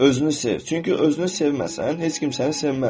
Özünü sev, çünki özünü sevməsən, heç kim səni sevməz.